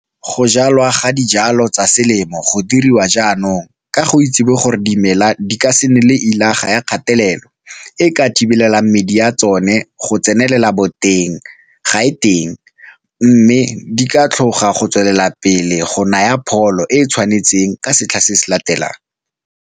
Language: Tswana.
Go jalwa ga dijalo tsa selemo go dirwa jaanong ka go itsewe gore dimela di ka se nne le llaga ya kgatelelo e e ka thibelelang medi ya tsone go tsenela boteng ga e teng mme di ka tlhoga go tswelela pele go naya pholo e e tshwanetseng ka setlha se se tlang.